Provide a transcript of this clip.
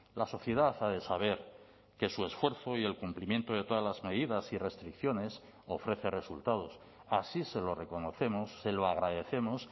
la sociedad ha de saber que su esfuerzo y el cumplimiento de todas las medidas y restricciones ofrece resultados así se lo reconocemos se lo agradecemos